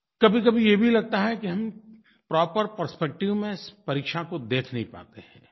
कभीकभी ये भी लगता है कि हम प्रॉपर परस्पेक्टिव में परीक्षा को देख नहीं पाते हैं